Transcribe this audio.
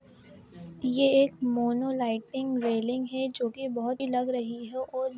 ये एक mono lighting railing है जो कि बहुत ही लग रही है और--